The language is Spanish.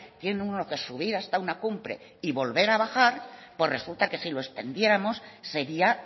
tiene uno que subir hasta una cumbre y volver a bajar pues resulta que si lo extendiéramos sería